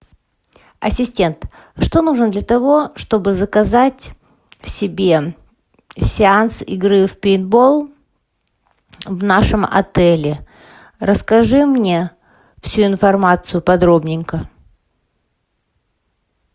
ассистент что нужно для того чтобы заказать себе сеанс игры в пейнтбол в нашем отеле расскажи мне всю информацию подробненько